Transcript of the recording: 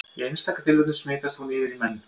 Í einstaka tilfellum smitast hún yfir í menn.